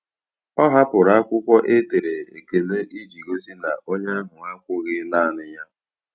Ọ hapụrụ akwụkwọ e dere ekele iji gosi na onye ahụ akwughị naanị ya.